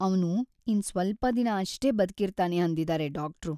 ಅವ್ನು ಇನ್ನ್ ಸ್ವಲ್ಪ ದಿನ ಅಷ್ಟೇ ಬದ್ಕಿರ್ತಾನೆ ಅಂದಿದಾರೆ ಡಾಕ್ಟ್ರು.